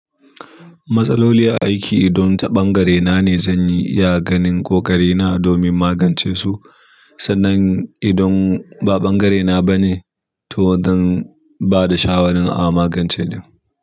Matsaloli a aiki idon ta ɓangare na ne zan yi iya ganin ƙoƙari na domin magance su. Sannan idan ba ɓangare na ba ne to zan bada shawaran a maganace ɗin.